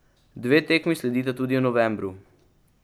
Dve tekmi sledita tudi v novembru.